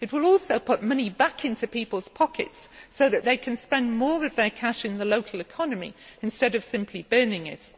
It will also put money back into people's pockets so that they can spend more of their cash in the local economy instead of simply burning it.